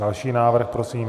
Další návrh prosím.